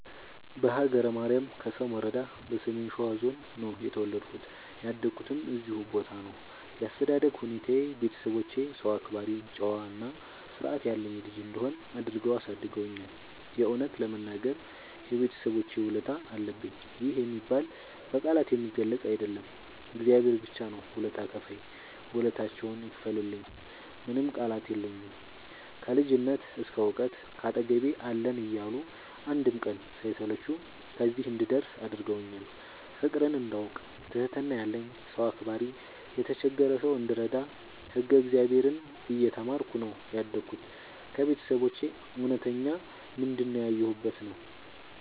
በሀገረ ማርያም ከሰም ወረዳ በሰሜን ሸዋ ዞን ነው የተወለድኩት ያደኩትም እዚሁ ቦታ ነው። ያስተዳደግ ሁኔታዬ ቤተሰቦቼ ሰው አክባሪ ጨዋ እና ስርዐት ያለኝ ልጅ እንድሆን አድርገው አሳድገውኛል። የእውነት ለመናገር የቤተሰቦቼ ውለታ አለብኝ ይህ የሚባል በቃላት የሚገለፅ አይደለም እግዚአብሔር ብቻ ነው ውለታ ከፍይ ውለታቸውን ይክፈልልኝ ምንም ቃላት የለኝም። ከልጅነት እስከ ዕውቀት ካጠገቤ አለን እያሉ አንድም ቀን ሳይሰለቹ ከዚህ እንድደርስ አድርገውኛል። ፍቅርን እንዳውቅ ትህትና ያለኝ ሰው አክባሪ የተቸገረ ሰው እንድረዳ ህግ እግዚአብሔርን እየተማርኩ ነው ያደግሁት ከቤተሰቦቼ እውነተኛ ምንድን ያየሁበት ነው።